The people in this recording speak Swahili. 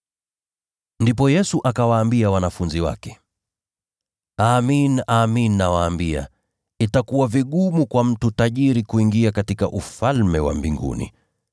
Ndipo Yesu akawaambia wanafunzi wake, “Amin, nawaambia, itakuwa vigumu kwa mtu tajiri kuingia katika Ufalme wa Mbinguni.